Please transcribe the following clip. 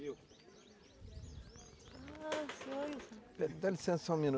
Dá licença só um minuto.